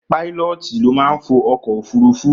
Páílọ́ọ̀tì ló máa ń fo ọkọ̀ òfúrufú